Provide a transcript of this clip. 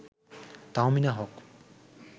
Tahmina Haque